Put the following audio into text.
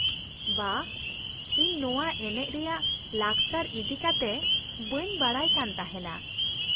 ᱵᱟᱦ, ᱤᱧ ᱱᱚᱶᱟ ᱮᱱᱮᱡ ᱨᱮᱭᱟᱜ ᱞᱟᱠᱪᱟᱨ ᱤᱫᱤ ᱠᱟᱛᱮ ᱵᱟᱹᱧ ᱵᱟᱰᱟᱭ ᱠᱟᱱ ᱛᱟᱦᱮᱱᱟ ᱾